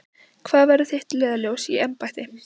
Hvað verður þitt leiðarljós í embætti?